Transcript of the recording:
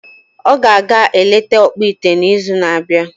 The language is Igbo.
Ọ ga-aga eleta ọkpụite n’izu na-abịa.